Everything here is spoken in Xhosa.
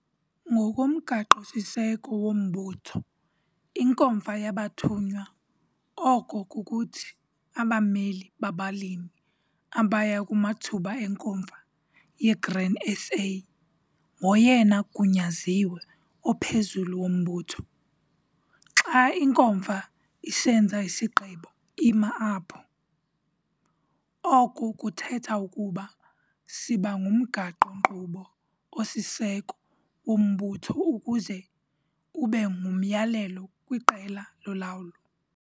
Ngokomgaqo-siseko wombutho, iNkomfa yabathunywa, oko kukuthi, abameli babalimi abaya kumathuba eNkomfa yeGrain SA ngoyena gunyaziwe ophezulu wombutho. Xa iNkomfa isenza isigqibo, ima apho! Oko kuthetha ukuba siba ngumgaqo-nkqubo osisiseko wombutho ukuze ube ngumyalelo kwiqela lolawulo.